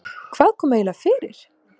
Hvað kom eiginlega fyrir?